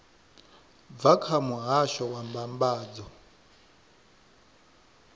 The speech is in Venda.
bva kha muhasho wa mbambadzo